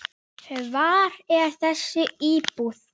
Hvar er þessi íbúð?